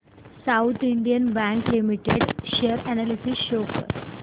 south Indian Bank Limited share analysis show कर